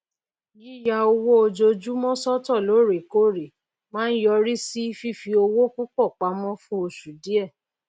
yíya owó ojoojúmọ sọtọ lóòrèkóòrè máa ń yọrí sí fífi owó púpọ pamọ fún oṣù díẹ